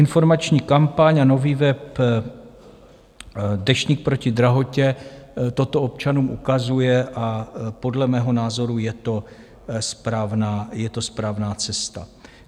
Informační kampaň a nový web Deštník proti drahotě toto občanům ukazuje a podle mého názoru je to správná cesta.